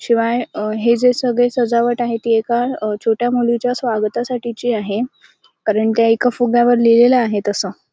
शिवाय अ हे जे सगळी सजावट आहे ते एका अ छोट्या मुलीच्या स्वागतासाठीची आहे कारण ते एका फुग्यावर लिहिलेल आहे तस --